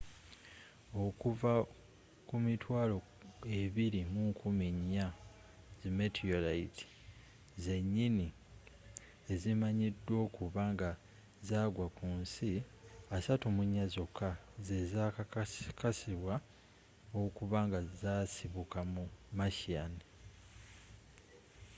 okuva ku 24,000 meteorites zenyini ezimanyiddwa okuba nga zagwa kunsi 34 zokka zezakakasibwa okuba nga zasibuka mu martian